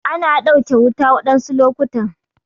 Ana ɗauke wuta waɗansu lokutan.